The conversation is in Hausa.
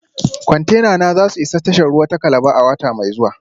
Kwantenana za su isa tashar ruwa ta Calabar a wata mai zuwa